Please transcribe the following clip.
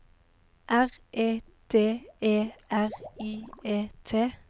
R E D E R I E T